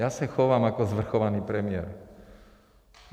Já se chovám jako svrchovaný premiér.